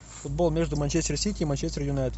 футбол между манчестер сити и манчестер юнайтед